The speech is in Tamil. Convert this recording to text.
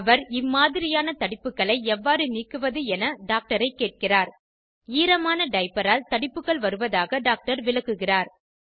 அவர் இம்மாதிரியான தடிப்புகளை எவ்வாறு நீக்குவது என டாக்டரை கேட்கிறார் ஈரமான டைப்பரால் தடிப்புகள் வருவதாக டாக்டர் விளக்குகிறார்